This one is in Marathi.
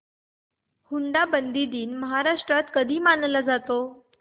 हुंडाबंदी दिन महाराष्ट्रात कधी मानला जातो